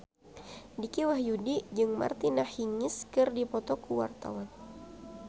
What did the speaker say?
Dicky Wahyudi jeung Martina Hingis keur dipoto ku wartawan